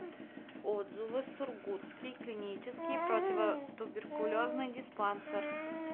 отзывы сургутский клинический противотуберкулезный диспансер